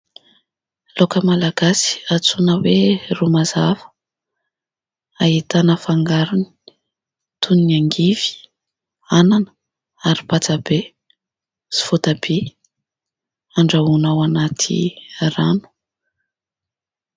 Laoka malagasy antsoina hoe ro mazava ahitana fangarony toy ny angivy, anana ary patsa be sy voatabia andrahoina ao anaty rano